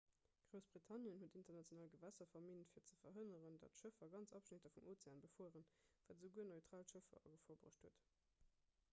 groussbritannien huet international gewässer verminnt fir ze verhënneren datt schëffer ganz abschnitter vum ozean befueren wat esouguer neutral schëffer a gefor bruecht huet